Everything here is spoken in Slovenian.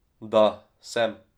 Da, sem.